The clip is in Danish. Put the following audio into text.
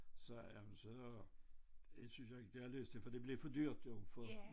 Sagde jeg men så det synes jeg ikke det jeg har lyst til for det blev for dyrt jo for